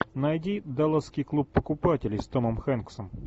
найди далласский клуб покупателей с томом хэнксом